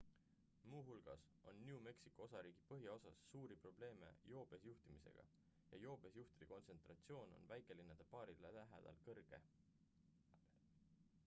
muuhulgas on new mexico osariigi põhjaosas suuri probleeme joobes juhtimisega ja joobes juhtide kontsentratsioon on väikelinnade baaride lähedal kõrge